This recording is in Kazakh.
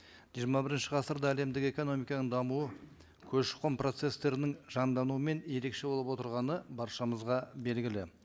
жиырма бірінші ғасырда әлемдік экономиканың дамуы көші қон процесстерінің жандануымен ерекше болып отырғаны баршамызға белгілі